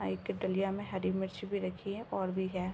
हा एक डलिया में हरी मिर्च भी रखी है और भी है।